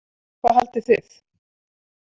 Hvað haldið þið?